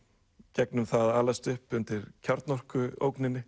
gegnum það að alast upp undir